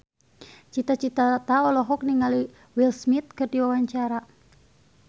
Cita Citata olohok ningali Will Smith keur diwawancara